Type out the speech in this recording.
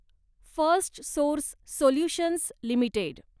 Firstsource solutions limited